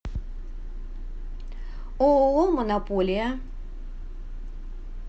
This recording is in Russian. ооо монополия